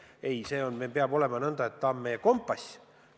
Ei, meil peab ta olema koostatud nõnda, et ta on meie kompass.